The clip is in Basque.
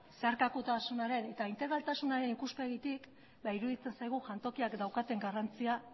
zeharkakotasunaren eta integraltasunaren ikuspegitik iruditzen zaigu jantokiak daukaten garrantzia